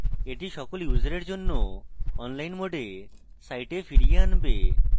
এটি সকল ইউসারের জন্য online mode site ফিরিয়ে আনবে